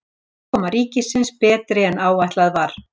Afkoma ríkisins betri en áætlað var